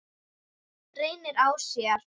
Leynir á sér!